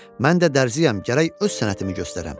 Mən də dərzəm, gərək öz sənətimi göstərəm.